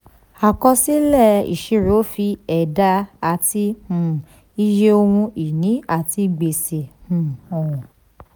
àkọsílẹ̀ ìṣirò fi ẹ̀dá àti um iye ohun ìní àti gbèsè um hàn.